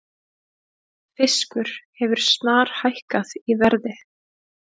Fiskur hefur snarhækkað í verði